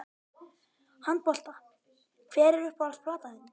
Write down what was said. Handbolta Hver er uppáhalds platan þín?